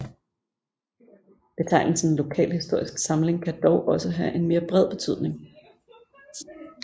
Betegnelsen lokalhistorisk samling kan dog også have en mere bred betydning